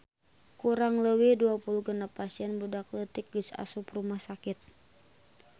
Kurang leuwih 26 pasien budak leutik geus asup rumah sakit